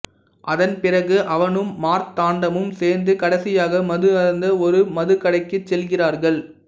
அதன் பிறகு அவனும் மார்த்தாண்டமும் சேர்ந்து கடைசியாக மது அருந்த ஒரு மது கடைக்குச் செல்கிறார்கள்